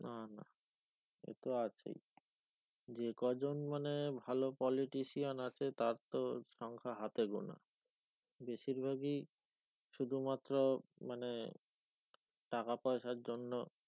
না না সে তো আছেই যে কজন মানে ভালো politician আছে তার তো সংখ্যা হাতে গোনা বেশির ভাগই শুধুমাত্র মানে টাকা পয়সার জন্য,